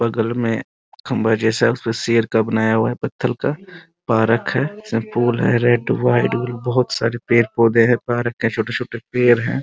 बगल में खम्भा जैसा उसमे शेर का बनाया हुआ है पथल का परक है सब फूल है रेड व्हाइट बहुत सारे पेड़-पौधे है पार्क के छोटे-छोटे पेड़ है |